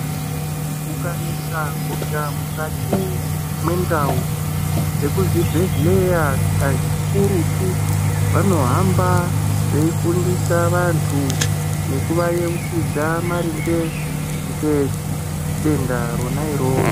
Kukanesa hosha mukati mendau vemuzvibhedhlera kazhinji kakurutu vanohamba veifundisa vantu nekuvageuchidza maringe Ngedenda Rona iroro.